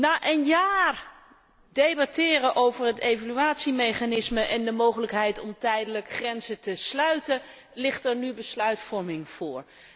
na een jaar debatteren over het evaluatiemechanisme en de mogelijkheid om tijdelijk grenzen te sluiten, ligt er nu besluitvorming voor.